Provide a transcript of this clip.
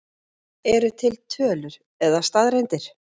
Eru til tölur eða staðreyndir?